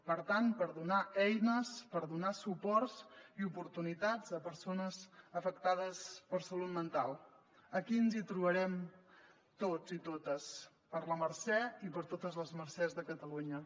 per tant per donar eines per donar suports i oportunitats a persones afectades per salut mental aquí ens hi trobarem tots i totes per la mercè i per totes les mercès de catalunya